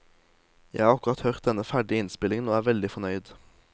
Jeg har akkurat hørt den ferdige innspillingen, og er veldig fornøyd.